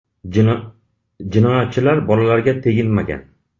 Jinoyatchilar bolalarga teginmagan.